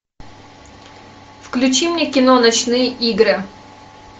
включи мне кино ночные игры